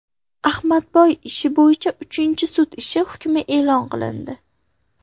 Ahmadboy ishi bo‘yicha uchinchi sud ishi hukmi e’lon qilindi.